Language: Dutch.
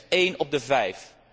slechts een op de vijf